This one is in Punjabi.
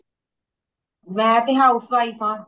ਮੈਂ ਤੇ housewife ਹਾਂ